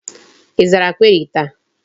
Ị zara query taa?